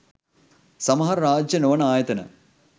සමහර රාජ්‍යය නොවන ආයතන